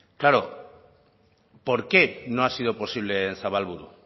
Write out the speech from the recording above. claro por qué no ha sido posible en zabalburu